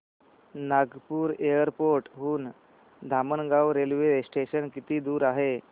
Nagpur airport हून Dhamangaon railway station किती दूर आहे